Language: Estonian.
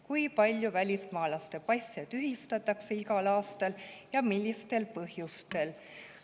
Kui palju välismaalase passe tühistatakse igal aastal ja millistel põhjustel?